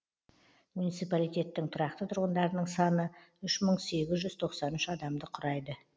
муниципалитеттің тұрақты тұрғындарының саны үш мың сегіз жүз тоқсан үш адамды құрайды